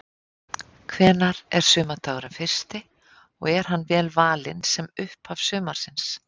Hvenær er sumardagurinn fyrsti og er hann vel valinn sem upphaf sumarsins?